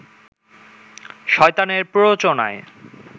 শয়তানের প্ররোচনায়